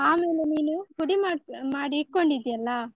ಆಮೇಲೆ ನೀನು ಪುಡಿ ಮಾಡ್~ ಮಾಡಿಟ್ಕೊಂಡಿದ್ದೀಯಲ್ಲ.